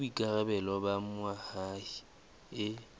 ke boikarabelo ba moahi e